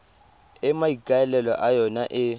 e maikaelelo a yona e